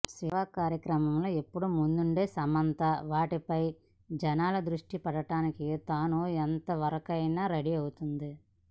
సేవా కార్యక్రమాల్లో ఎప్పుడు ముందుండే సమంత వాటిపై జనాల ద్రుష్టి పడటానికి తాను ఎంతవరకైనా రెడీ అవుతుంది